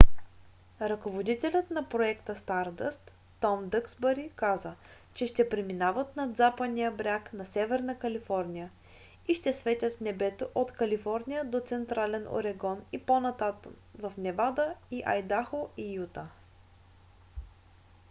ръководителят на проекта стардъст том дъксбъри каза че ще преминават над западния бряг на северна калифорния и ще светят в небето от калифорния до централен орегон и по-натам в невада и айдахо и юта